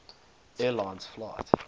air lines flight